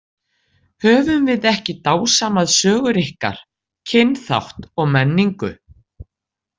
Höfum við ekki dásamað sögur ykkar, kynþátt og menningu.